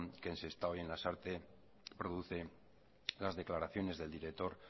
que en sestao y en lasarte producen las declaraciones del director